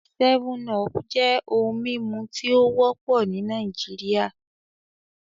7Up jẹ ohun mimu ti o wọpọ ni Naijiria